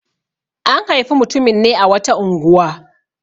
An haifi mutumin ne a wata unguwa.